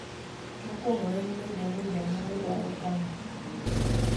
Mokwongo en bedo ni janyuol dwaro kamano.